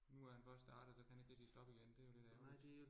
Nu er han først startet, så kan han ikke rigtig stoppe igen, det jo lidt ærgerligt